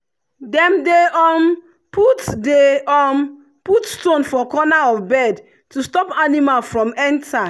dem dey um put dey um put stone for corner of bed to stop animal from enter.